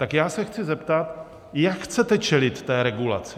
Tak já se chci zeptat, jak chcete čelit té regulaci.